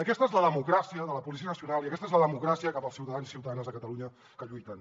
aquesta és la democràcia de la policia nacional i aquesta és la democràcia cap als ciutadans i ciutadanes de catalunya que lluiten